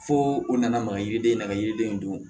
Fo u nana maga yiriden na ka yiriden in dun